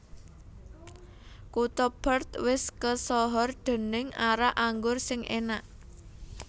Kuto Perth wis kesohor dening arak anggur sing enak